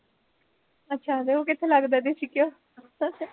ਅੱਛਾ ਤੇ ਉਹ ਕਿੱਥੇ ਲੱਗਦਾ ਦੇਸੀ ਘਿਓ